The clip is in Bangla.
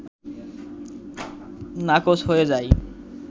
নাকচ হয়ে যায়